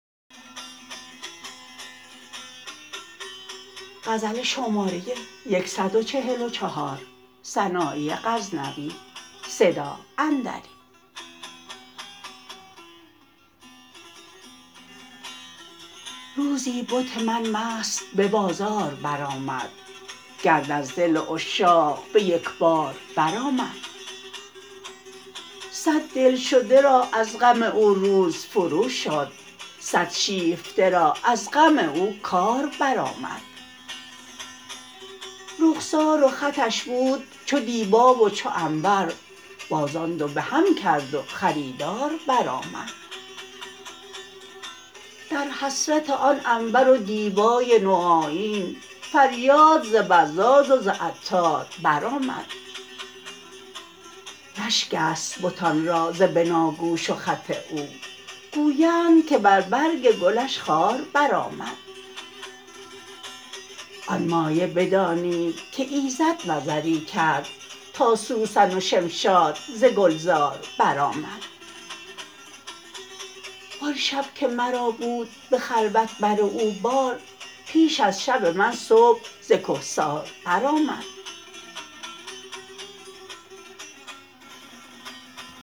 روزی بت من مست به بازار برآمد گرد از دل عشاق به یک بار بر آمد صد دلشده را از غم او روز فروشد صد شیفته را از غم او کار برآمد رخسار و خطش بود چو دیبا و چو عنبر باز آن دو بهم کرد و خریدار برآمد در حسرت آن عنبر و دیبای نوآیین فریاد ز بزاز و ز عطار برآمد رشک است بتان را ز بناگوش و خط او گویند که بر برگ گلش خار برآمد آن مایه بدانید که ایزد نظری کرد تا سوسن و شمشاد ز گلزار برآمد و آن شب که مرا بود به خلوت بر او بار پیش از شب من صبح ز کهسار برآمد